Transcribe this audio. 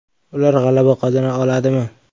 Ular g‘alaba qozona oladimi?